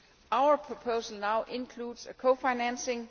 Our proposal now includes cofinancing.